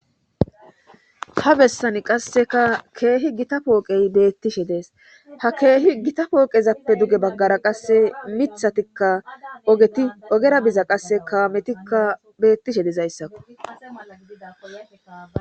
ta bessani qasseka keehi gita pooqey beettishe dees ha keehi gita pooqezappe duge baggara qasse mithatikka ogeti ogera biza qasse kaametikka beettishe dizayssakko